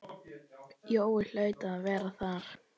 Jói hlaut að vera þar.